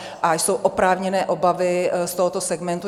A jsou oprávněné obavy z tohoto segmentu.